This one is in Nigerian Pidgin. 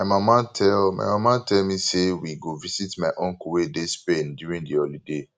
my mama tell mama tell me say we go visit my uncle wey dey spain during the holiday